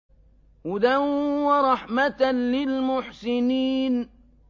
هُدًى وَرَحْمَةً لِّلْمُحْسِنِينَ